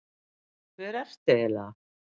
Hver ertu eiginlega?